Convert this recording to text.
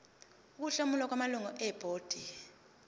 ukuhlomula kwamalungu ebhodi